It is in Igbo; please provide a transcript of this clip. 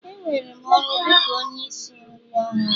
E were m n'ọrụ dị ka onye isi nri ọhụrụ